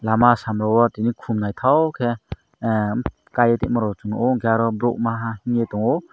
lama samao tini khum nythok ke kai ti mo chung nug o enke oro bruk maha mia tongo.